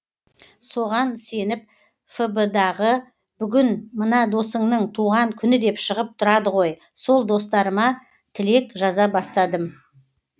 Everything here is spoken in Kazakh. соған сеніп фб дағы бүгін мына досыңның туған күні деп шығып тұрады ғой сол достарыма тілек жаза бастадым